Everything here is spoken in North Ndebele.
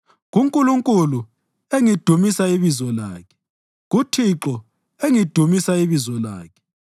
KuNkulunkulu, engidumisa ibizo lakhe, kuThixo engidumisa ibizo lakhe,